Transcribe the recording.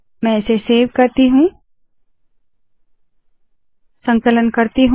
मैं इसे सेव करती हूँ संकलन करती हूँ